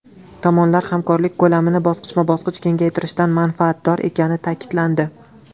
Tomonlar hamkorlik ko‘lamini bosqichma-bosqich kengaytirishdan manfaatdor ekani ta’kidlandi.